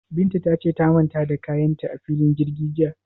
Binta ta ce ta manta da kayan ta a filin jirgi jiya?